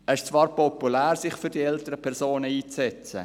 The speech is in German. Es ist zwar populär, sich für die älteren Personen einzusetzen;